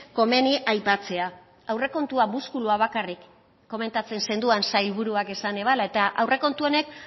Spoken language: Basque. komeni aipatzea aurrekontua muskulua bakarrik komentatzen zenuen sailburuak esan ebala eta aurrekontu honek